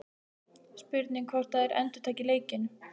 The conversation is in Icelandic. Spurning hvort að þær endurtaki leikinn?